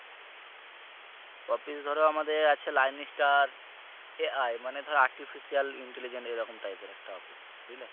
office ধরো আছে আমাদের line star আহ মানে ধরো artificial intelligence এরকম type এর একটা office বুঝলে।